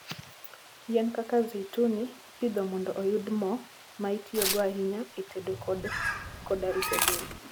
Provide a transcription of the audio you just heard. Yien kaka zeituni ipidho mondo oyud mo, ma itiyogo ahinya e tedo koda rito del.